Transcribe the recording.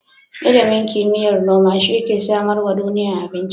Ilimin kimiyar noma shi ke samarwa duniya abinci.